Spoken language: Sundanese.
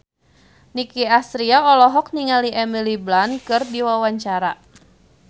Nicky Astria olohok ningali Emily Blunt keur diwawancara